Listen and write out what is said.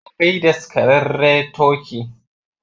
Akwai daskararre turkey